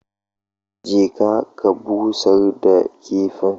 Je ka ka busar da kifin